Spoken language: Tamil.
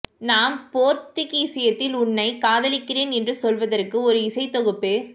நான் போர்த்துகீசியத்தில் உன்னை காதலிக்கிறேன் என்று சொல்வதற்கு ஒரு இசைத் தொகுப்பு